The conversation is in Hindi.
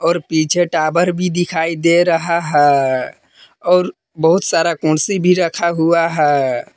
और पीछे टावर भी दिखाई दे रहा है और बहुत सारा कुंसी भी रखा हुआ है।